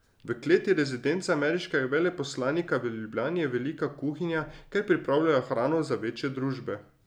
V kleti rezidence ameriškega veleposlanika v Ljubljani je velika kuhinja, kjer pripravljajo hrano za večje družbe.